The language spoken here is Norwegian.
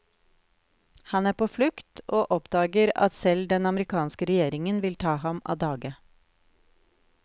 Han er på flukt, og oppdager at selv den amerikanske regjeringen vil ta ham av dage.